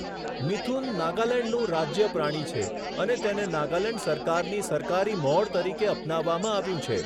મિથુન નાગાલેન્ડનું રાજ્ય પ્રાણી છે અને તેને નાગાલેન્ડ સરકારની સરકારી મહોર તરીકે અપનાવવામાં આવ્યું છે.